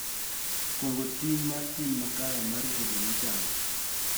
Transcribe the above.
Kuong�o ting� mar tim makare mar rito joma ochando.